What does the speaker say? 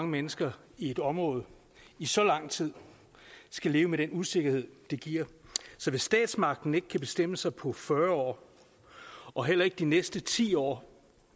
mennesker i et område i så lang tid skal leve med den usikkerhed det giver så hvis statsmagten ikke kan bestemme sig på fyrre år og heller ikke de næste ti år og